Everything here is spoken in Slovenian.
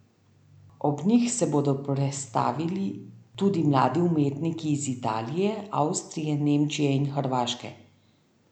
Ob njih se bodo prestavili tudi mladi umetniki iz Italije, Avstrije, Nemčije in Hrvaške.